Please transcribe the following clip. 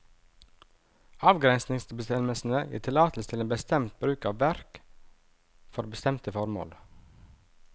Avgrensningsbestemmelsene gir tillatelse til en bestemt bruk av verk, for bestemte formål.